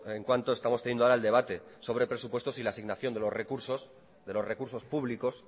en cuanto estamos teniendo ahora el debate sobre presupuestos y la asignación de los recursos públicos